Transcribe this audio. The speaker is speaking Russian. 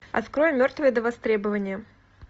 открой мертвые до востребования